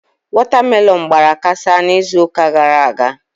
Watermelon gbara kasaa n'izuụka gara aga.